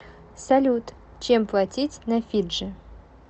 салют чем платить на фиджи